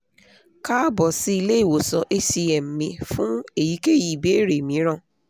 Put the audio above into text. káàbọ̀ sí ilé ìwòsàn hcm mi fún èyíkéyìí ìbéèrè mìíràn